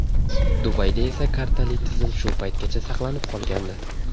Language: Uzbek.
Dubayda esa kartali tizim shu paytgacha saqlanib qolgandi.